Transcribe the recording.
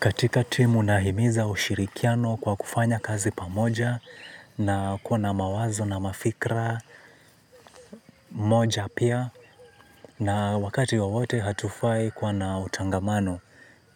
Katika timu nahimiza ushirikiano kwa kufanya kazi pamoja na kuwa na mawazo na mafikira moja pia. Na wakati wawote hatufai kwa na utangamano